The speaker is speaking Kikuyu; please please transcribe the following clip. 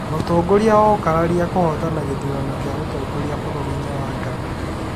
Mũtongoria wa ũkararia kũhootana gĩthurano gĩa ũtongoria bũrũri-inĩ wa Ghana